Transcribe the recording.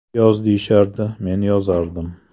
Yoz deyishardi men yozardim.